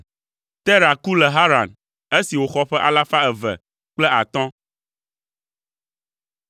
Tera ku le Haran esi wòxɔ ƒe alafa eve kple atɔ̃ (205).